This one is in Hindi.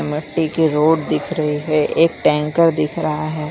मट्टी की रोड दिख रही है एक टैंकर दिख रहा है।